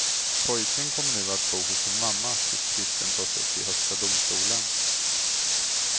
Pojken kommer nu att bo hos sin mamma, tills tvisten tas upp i högsta domstolen.